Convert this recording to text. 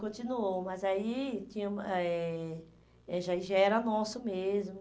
Continuou, mas aí tinha ah eh eh já era nosso mesmo.